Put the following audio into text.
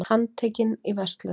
Handtekinn í verslun